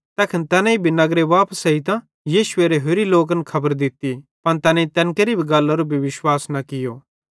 तैखन तैनेईं भी नगरे वापस एजतां यीशुएरे होरे चेलन खबर दित्ती पन तैनेईं तैन केरि गल्लारो भी विश्वास न कियो